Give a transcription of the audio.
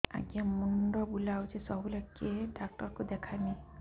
ଆଜ୍ଞା ମୁଣ୍ଡ ବୁଲାଉଛି ସବୁବେଳେ କେ ଡାକ୍ତର କୁ ଦେଖାମି